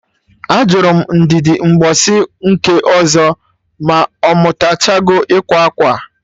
Ajụrụ m Ndidi mgbọsị nke ọzọ ma ọ mụtachago ịkwa akwa?